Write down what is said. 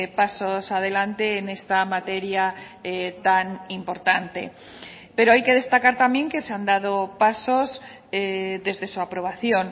pasos adelante en esta materia tan importante pero hay que destacar también que se han dado pasos desde su aprobación